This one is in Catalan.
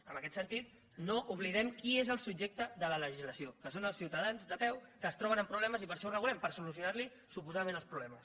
en aquest sentit no oblidem qui és el subjecte de la legislació que són els ciutadans de peu que es troben amb problemes i per això ho regulem per solucionar los suposadament els problemes